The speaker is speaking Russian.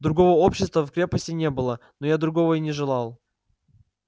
другого общества в крепости не было но я другого и не желал